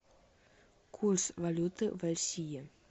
курс валюты в россии